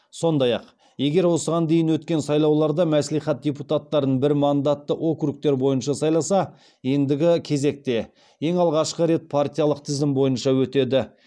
сондай ақ егер осыған дейін өткен сайлауларда мәслихат депутаттарын бір мандатты округтер бойынша сайласа ендігі кезекте ең алғашқы рет партиялық тізім бойынша өтеді